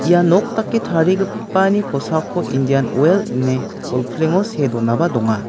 ia nok dake tarigipani kosako indian oel ine bolplengo see donaba donga.